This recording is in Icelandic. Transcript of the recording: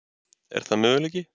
Er það möguleiki?